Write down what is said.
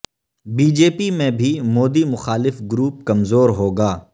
B J پی میں بھی مودی مخالف گروپ کمزور ہو گا